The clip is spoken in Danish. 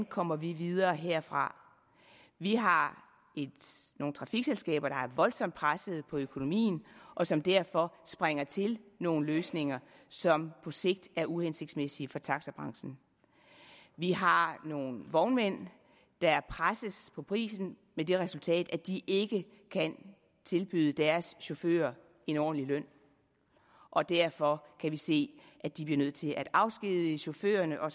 kommer videre herfra vi har nogle trafikselskaber der er voldsomt presset på økonomien og som derfor springer til nogle løsninger som på sigt er uhensigtsmæssige for taxabranchen vi har nogle vognmænd der presses på prisen med det resultat at de ikke kan tilbyde deres chauffører en ordentlig løn og derfor kan vi se at de bliver nødt til at afskedige chaufførerne og